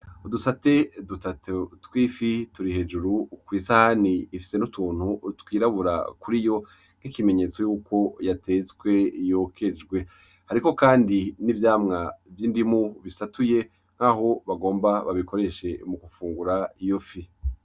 Udusate dutatu tw’ifi turi hejuru kw’isahani ifise n’utuntu twirabura kuri yo nk’ikimenyetso yuko yatetswe yokejwe, ariho kandi n’ivyama vy’indimu bisatuye nk’aho bagomba babikoreshe mu gufungura iyo fi.